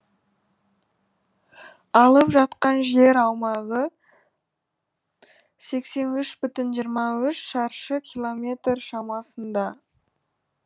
алып жатқан жер аумағы сексен үш бүтін жиырма үш шаршы километр шамасында